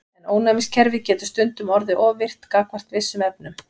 En ónæmiskerfið getur stundum orðið of virkt gagnvart vissum efnum.